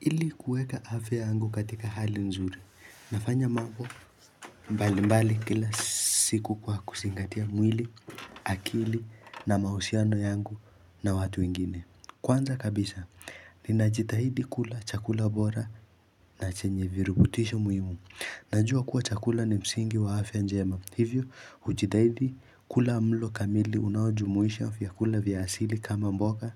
Ili kueka hafe ya angu katika hali nzuri, nafanya mabu mbali mbali kila siku kwa kusingatia mwili, akili na mahusiano yangu na watu ingine. Kwanza kabisa, ninajitahidi kula chakula bora na chenye virubutisho muhimu. Najua kuwa chakula ni msingi wa afya njema. Hivyo, hujithidi kula mlo kamili unawajumuisha vyakula vya asili kama mboga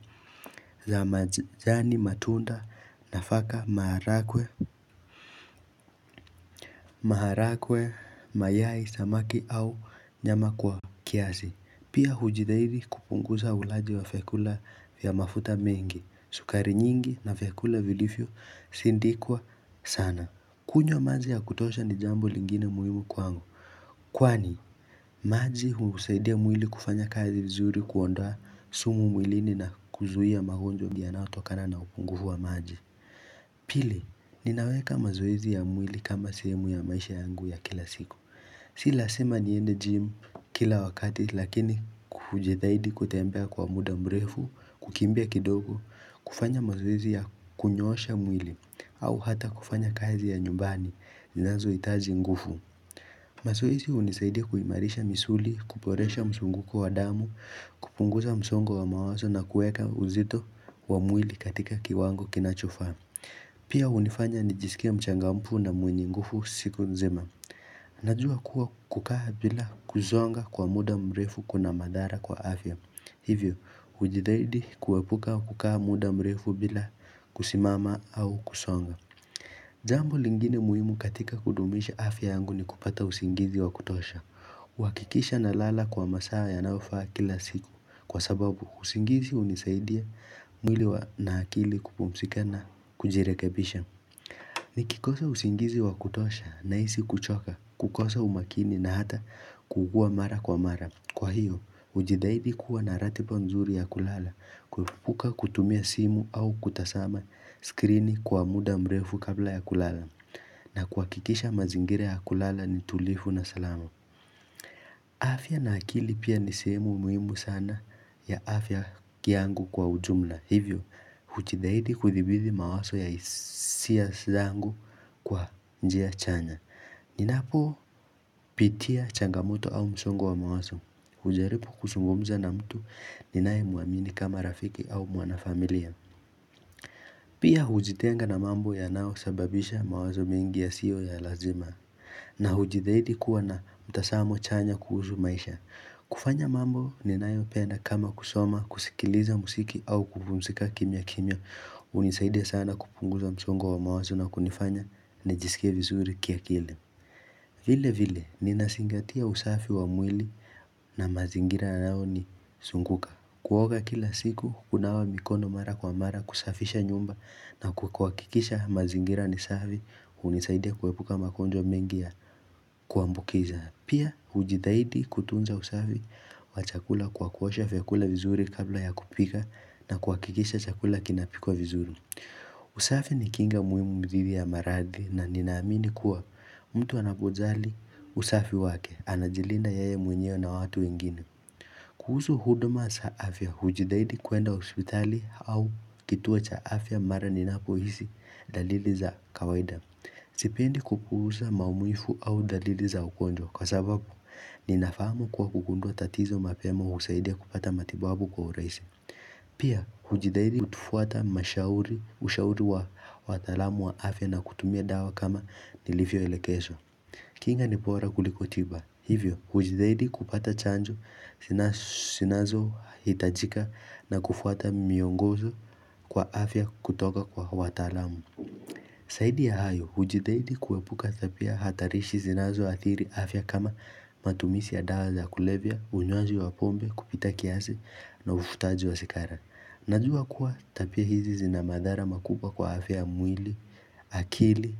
za majani matunda na faka maharakwe, maharakwe, mayai, samaki au nyama kwa kiasi. Pia hujithidi kupunguza ulaji wa fiakula vya mafuta mengi, sukari nyingi na fiakula vilifyo sindikwa sana. Kunyo mazi ya kutosha ni jambo lingine muhimu kwangu. Kwani, mazi usaidia mwili kufanya kazi vizuri kuondwa sumu mwilini na kuzuhia mahojwa mdianao tokana na upungufu wa mazi. Pili, ninaweka mazoezi ya mwili kama sehemu ya maisha yangu ya kila siku. Si lazima niende jimu kila wakati lakini kufujithaidi kutembea kwa muda mrefu, kukimbia kidogo, kufanya mazuizi ya kunyosha mwili au hata kufanya kazi ya nyumbani ninazo itazi ngufu Mazuizi unisaidi kuimarisha misuli Kuporesha msunguko wa damu kupunguza msongo wa mawazo na kueka uzito wa mwili katika kiwango kinachofaa Pia unifanya nijisikia mchangampu na mwenye ngufu siku nzima Najua kuwa kukaha bila kuzonga kwa muda mrefu kuna madhara kwa afya Hivyo, ujidaidi kuwepuka wakukaa muda mrefu bila kusimama au kusonga Zambo lingine muhimu katika kudumisha afya yangu ni kupata usingizi wa kutosha Wakikisha na lala kwa masaa yanaofa kila siku Kwa sababu, usingizi unisaidia mwili na nakili kupumsika na kujirekebisha Nikikosa usingizi wa kutosha na isi kuchoka, kukosa umakini na hata kukua mara kwa mara Kwa hiyo, ujidaidi kuwa ratiba panzuri ya kulala, kufuka kutumia simu au kutasama skrini kwa muda mrefu kabla ya kulala, na kwa kikisha mazingire ya kulala ni tulifu na salamu. Afya na akili pia ni simu muhimu sana ya afya kiangu kwa ujumla. Hivyo, ujidaidi kuthibizi mawaso ya hisia zangu kwa njia chanya. Ninapopitia changamoto au msongo wa mawazo ujaribu kusumbumza na mtu ninae muamini kama rafiki au mwanafamilia Pia hujitenga na mambo ya nao sababisha mawazo mengi yasiyo ya lazima na hujithidi kuwa na mtasamo chanya kuhusu maisha kufanya mambo ninae penda kama kusoma, kusikiliza musiki au kupumzika kimya kimya Unisaide sana kupunguza msongo wa mawazo na kunifanya ni jisike vizuri kia kile vile vile, nina singatia usafi wa mwili na mazingira nao ni sunguka Kuoga kila siku, kunawa mikono mara kwa mara kusafisha nyumba na kukwakikisha mazingira ni safi unisaidia kuwebuka makonjo mengia kuambukiza. Pia, ujidaidi kutunza usafi wa chakula kwa kuosha vyakula vizuri kabla ya kupika na kukikisha chakula kinapiko vizuri usafi ni kinga muhimu mdhiri ya marathi na ninaamini kuwa mtu anapojali usafi wake anajilina yae mwenyeo na watu ingine Kuhuzu huduma za afya hujidaidi kuenda hospitali au kituo cha afya mara ninapo hisi dalili za kawaida Sipendi kupuza maumuifu au dalili za ukonjwa kwa sababu ninafamu kwa kukundua tatizo mapemo husaidia kupata matibabu kwa urahisi Pia hujideidi kutufuata mashauri wa watalamu wa afya na kutumia dawa kama nilivyo elekeso kinga nibora kulikotiba Hivyo hujideidi kupata chanjo sinazo hitajika na kufuata miongozo kwa afya kutoka kwa watalamu saidi ya hayo, hujidaidi kuwepuka tapia hatarishi zinazo atiri afya kama matumisi ya dawa za kulevya, unywaji wa pombe, kupita kiasi na ufutaji wa sekara. Najua kuwa tapia hizi zinamadhara makupa kwa afya mwili, akili,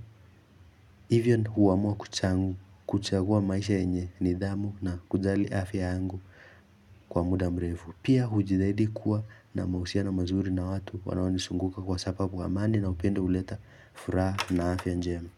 even huamua kuchangu, kuchagua maisha enye, nidhamu na kujali afya angu kwa muda mrefu. Pia hujidaidi kuwa na mausia na mazuri na watu wanawani sunguka kwa sababu amani na upende uleta furaha na afya njema.